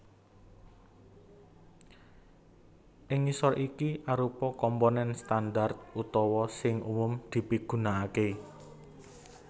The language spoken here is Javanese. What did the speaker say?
Ing ngisor iki arupa komponen standar utawa sing umum dipigunakaké